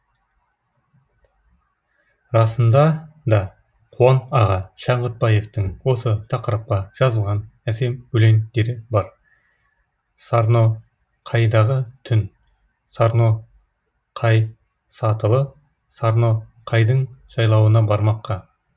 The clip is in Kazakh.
расында да қуан аға шаңғытбаевтың осы тақырыпқа жазылған әсем өлеңдері бар сарноқайдағы түн сарноқай сатылы сарноқайдың жайлауына бармаққа